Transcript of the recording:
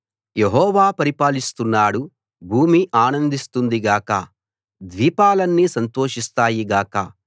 యెహోవా పరిపాలిస్తున్నాడు భూమి ఆనందిస్తుంది గాక ద్వీపాలన్నీ సంతోషిస్తాయి గాక